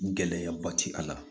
Gɛlɛyaba ti a la